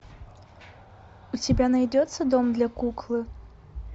у тебя найдется дом для куклы